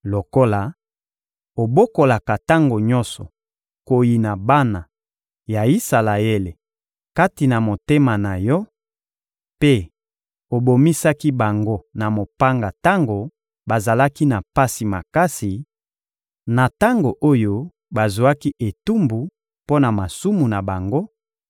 Lokola obokolaka tango nyonso koyina bana ya Isalaele kati na motema na yo mpe obomisaki bango na mopanga tango bazalaki na pasi makasi, na tango oyo bazwaki etumbu mpo na masumu na bango,